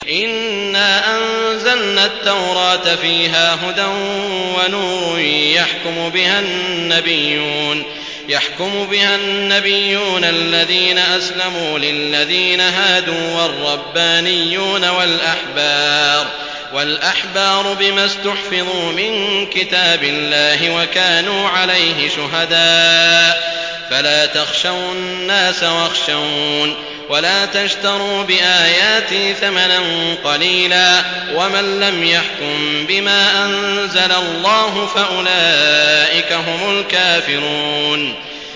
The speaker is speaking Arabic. إِنَّا أَنزَلْنَا التَّوْرَاةَ فِيهَا هُدًى وَنُورٌ ۚ يَحْكُمُ بِهَا النَّبِيُّونَ الَّذِينَ أَسْلَمُوا لِلَّذِينَ هَادُوا وَالرَّبَّانِيُّونَ وَالْأَحْبَارُ بِمَا اسْتُحْفِظُوا مِن كِتَابِ اللَّهِ وَكَانُوا عَلَيْهِ شُهَدَاءَ ۚ فَلَا تَخْشَوُا النَّاسَ وَاخْشَوْنِ وَلَا تَشْتَرُوا بِآيَاتِي ثَمَنًا قَلِيلًا ۚ وَمَن لَّمْ يَحْكُم بِمَا أَنزَلَ اللَّهُ فَأُولَٰئِكَ هُمُ الْكَافِرُونَ